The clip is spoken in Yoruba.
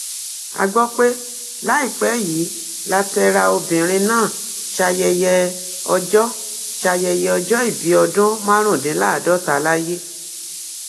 a gbọ pé láìpẹ yìí látẹra obìnrin náà ṣayẹyẹ ọjọ ṣayẹyẹ ọjọ ìbí ọdún márùndínláàádọta láyé